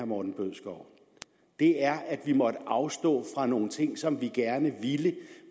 morten bødskov det er at vi måtte afstå fra nogle ting som vi gerne ville